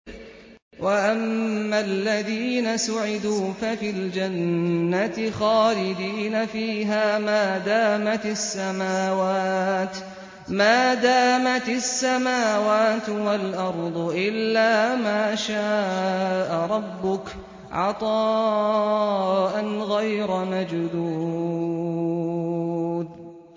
۞ وَأَمَّا الَّذِينَ سُعِدُوا فَفِي الْجَنَّةِ خَالِدِينَ فِيهَا مَا دَامَتِ السَّمَاوَاتُ وَالْأَرْضُ إِلَّا مَا شَاءَ رَبُّكَ ۖ عَطَاءً غَيْرَ مَجْذُوذٍ